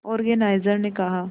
organiser ने कहा